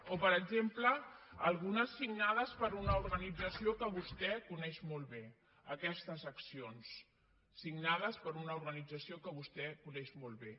o per exemple algunes signades per una organització que vostè coneix molt bé aquestes accions signades per una organització que vostè coneix molt bé